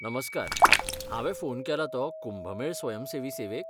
नमस्कार, हांवे फोन केला तो कुंभ मेळ स्वयंसेवी सेवेक?